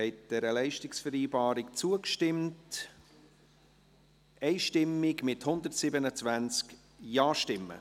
Sie haben dieser Leistungsvereinbarung einstimmig zugestimmt, mit 127 Ja-Stimmen.